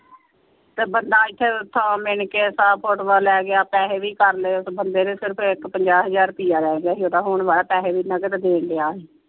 ਤੇ ਬੰਦਾ ਏਥੇ ਸੌ ਮਿਣ ਕੇ ਸੌ ਫੋਟੋਆਂ ਲੈ ਕੇ ਪੈਸੇ ਵੀ ਕਰ ਲਏ ਉਸ ਬੰਦੇ ਨੇ ਸਿਰਫ਼ ਇਕ ਪੰਜਾਹ ਹਜ਼ਾਰ ਰੁਪਈਆ ਰਹਿ ਗਿਆ ਸੀ ਓਹਦਾ ਹੋਣ ਵਾਲਾ ਪੈਸੇ ਵੀ ਨਗਦ ਦੇਣ ਡੇਆ ਸੀ।